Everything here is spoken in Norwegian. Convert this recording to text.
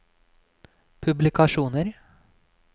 publikasjoner